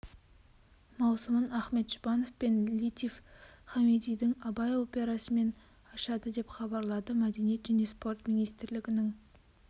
маусымын ахмет жұбанов пен латиф хамидидің абай операсымен ашады деп хабарлады мәдениет және спорт министрлігінің